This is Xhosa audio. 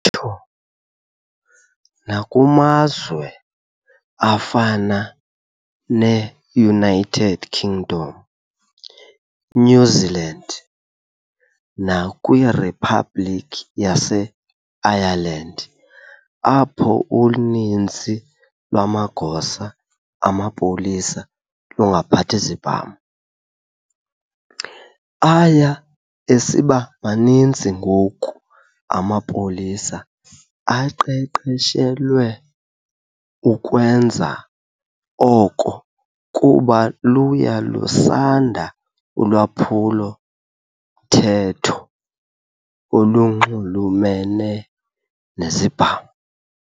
Nditso nakumazwe afana ne-United Kingdom, eNew Zealand nakwiRhiphabhlikhi yase Ireland apho uninzi lwamagosa amapolisa lungaphathi zibham, aya esiba maninzi ngoku amapolisa aqeqeshelwe ukwenza oko kuba luya lusanda ulwaphulo-mthetho olunxulumene nezibham.